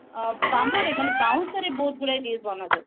bamboo ରେ ମାନେ ବାଉଁଶ ରେ ବହୁତ ଗୁଡେ dish ବନାଯାଏ